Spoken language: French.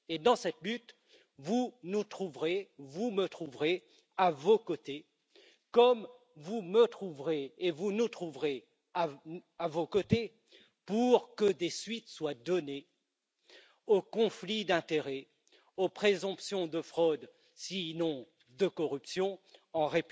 Et dans cette lutte, vous nous trouverez et vous me trouverez à vos côtés, comme vous me trouverez et vous nous trouverez à vos côtés pour que des suites soient données aux affaires de conflits d'intérêts et aux présomptions de fraude, sinon de corruption, en